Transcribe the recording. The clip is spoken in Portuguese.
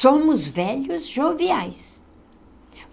Somos velhos joviais.